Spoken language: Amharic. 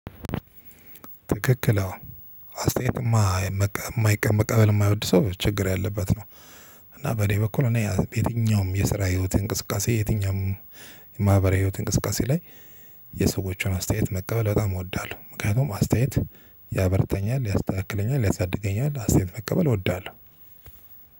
ትክክል አሁን አስተያየትማ የማይቀበል መቀበል የማይወድ ሰው ችግር ያለበት ነው። እና በኔ በኩል እኔ የትኛውም የስራ ህይወት እንቅስቃሴ የትኛውም የማህበራዊ ህይወት እንቅስቃሴ ላይ የሰዎችን አስተያየት መቀበል በጣም እወዳለሁ። ምክንያቱም አስተያየት ያበረታኛል ያስተካክለኛል። ያሳድገኛል አስተያየት መቀበል እወዳለሁ።